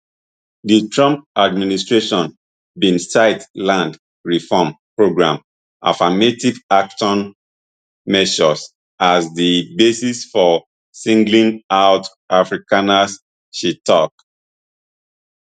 di trump administration bin cite land reform programs affirmative action measures as di basis for singling out afrikaners she tok